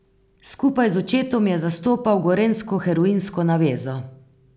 Skupaj z očetom je zastopal gorenjsko heroinsko navezo.